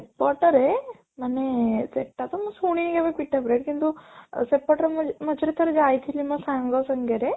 ସେପଟ ରେ ମାନେ ସେଟା ତ ମୁଁ ଶୁଣି କେବେ ପିଟା bread କିନ୍ତୁ ସେପଟର ମୁଁ ମଝିରେ ଥରେ ଯାଇଥିଲି ମୋ ସାଙ୍ଗ ସାଙ୍ଗରେ